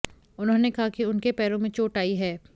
उन्होंने कहा कि उनके पैरों में चोट आयी है